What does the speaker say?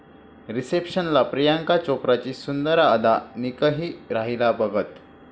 रिसेप्शनला प्रियांका चोप्राची सुंदर अदा, निकही राहिला बघत